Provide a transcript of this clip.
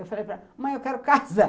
Eu falei, mãe, eu quero casar.